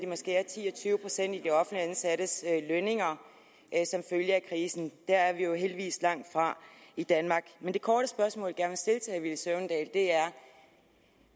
må skære ti og tyve procent ned i de offentligt ansattes lønninger der er vi jo heldigvis langtfra i danmark men det korte spørgsmål jeg gerne vil stille herre villy søvndal er